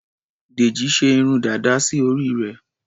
Dèjì ṣe irun dàda sí orí rẹ̀.